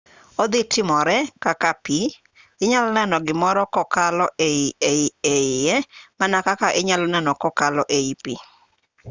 odhi timore kaka pi inyalo neno gimoro kokalo e iye mana kaka inyalo neno kokalo ei pi